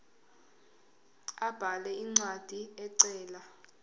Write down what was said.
abhale incwadi ecela